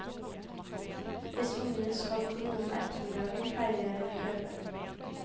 Hvis ungene skal på noe om ettermiddagen pleier jeg å kjøre.